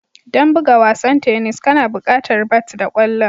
Don buga wasan tennis kana buƙatar bat da ƙwallon